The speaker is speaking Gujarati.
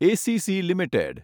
ACC limited